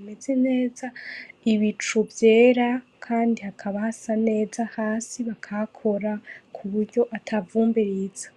mwiza ibicu vyera kandi hakaba hasa neza bakagakora kuburyo ata vumbi riza.